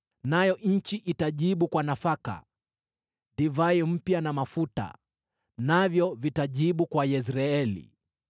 nayo nchi itajibu kwa nafaka, divai mpya na mafuta, navyo vitajibu kwa Yezreeli.